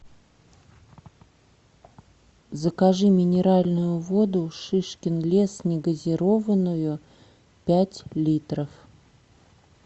закажи минеральную воду шишкин лес негазированную пять литров